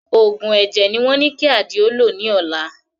Òògùn ẹ̀jẹ̀ ni wọ́n ní kí Àdìó lò ní ọ̀la